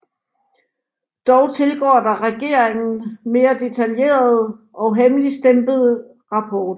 Dog tilgår der regeringen mere detaljerede og hemmeligstemplede rapporter